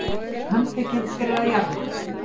Handtekinn fyrir að jarma